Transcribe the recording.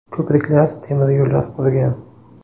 Ko‘priklar, temiryo‘llar qurgan.